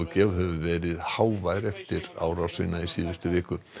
hefur verið hávær eftir árásina í síðustu viku